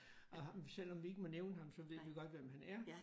Og selvom vi ikke må nævne ham så ved vi godt hvem han er